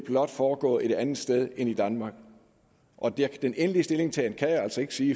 foregå et andet sted end i danmark den endelige stillingtagen kan jeg altså ikke sige